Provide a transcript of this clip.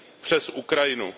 přes Ukrajinu.